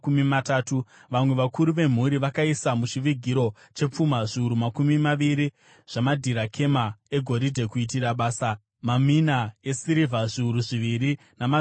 Vamwe vakuru vemhuri vakaisa muchivigiro chepfuma zviuru makumi maviri zvamadhirakema egoridhe kuitira basa, mamina esirivha zviuru zviviri namazana maviri .